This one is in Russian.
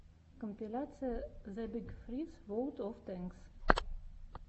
компиляция зэ биг фриз ворлд оф тэнкс